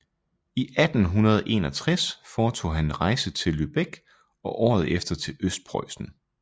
I 1861 foretog han en rejse til Lübeck og året efter til Østpreussen